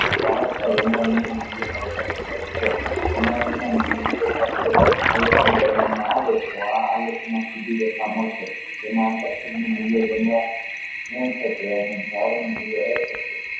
મૂલ્ય માં વધારે થાય છે આલેખન કરવામાં આવે